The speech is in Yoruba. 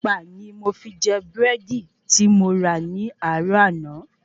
Ẹ̀pà ni mo fi jẹ Búrẹ́dì ti mo rà ní àárò àná